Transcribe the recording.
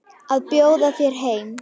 Að bjóða þér heim.